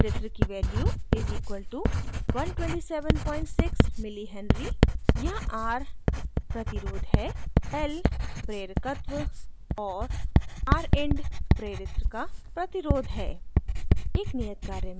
प्रेरित्र की value = 1276mh milli henry